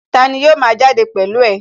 Tani yóò ma jáde pẹ̀lú ẹ?